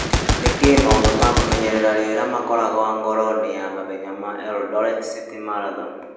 Nĩ kĩĩ maũndũ ma kũmenyerera rĩera makoragwo ngoro-inĩ ya mahenya ma Eldoret City Marathon.